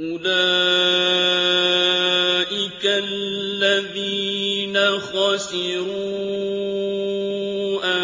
أُولَٰئِكَ الَّذِينَ خَسِرُوا